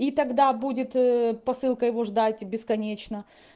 и тогда будет посылка его ждать бесконечно